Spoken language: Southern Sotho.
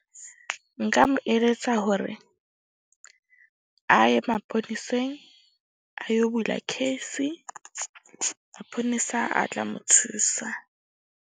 Nka mo eletsa hore a ye maponeseng a yo bula case-i. Maponesa a tla mo thusa.